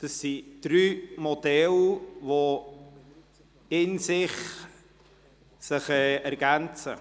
Es sind drei Modelle, die sich in sich ergänzen.